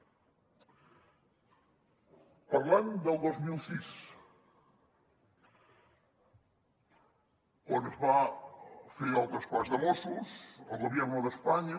parlant del dos mil sis quan es va fer el traspàs de mossos el gobierno de españa